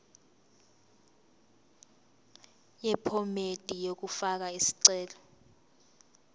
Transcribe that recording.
yephomedi yokufaka isicelo